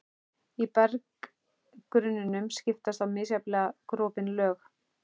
Í berggrunninum skiptast á misjafnlega gropin lög.